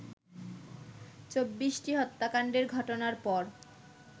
২৪টি হত্যাকাণ্ডের ঘটনার পর